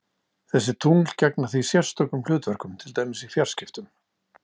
Þessi tungl gegna því sérstökum hlutverkum, til dæmis í fjarskiptum.